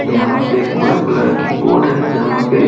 यहाँ पे एक ब्लू कलर की बोर्ड है जहाँ पे --